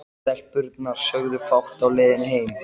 Stelpurnar sögðu fátt á leiðinni heim.